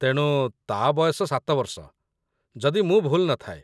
ତେଣୁ, ତା' ବୟସ ୭ ବର୍ଷ, ଯଦି ମୁଁ ଭୁଲ୍‌ ନ ଥାଏ।